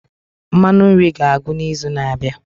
Mmanụ nri ga-agwụ n'izu na-abịa.